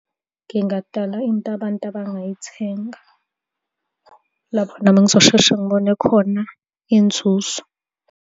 Ngingadala into abantu abangayithenga, lapho nami engizosheshe ngibone khona inzuzo.